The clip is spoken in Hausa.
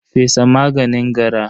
fesa maganin gara.